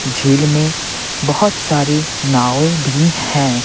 झील में बहुत सारी नावें भी हैं।